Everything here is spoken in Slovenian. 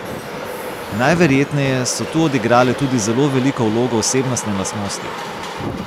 Najverjetneje so tu odigrale tudi zelo veliko vlogo osebnostne lastnosti.